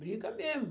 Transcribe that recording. Briga mesmo.